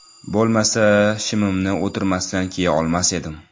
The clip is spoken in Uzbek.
Bo‘lmasa, shimimni o‘tirmasdan kiya olmas edim.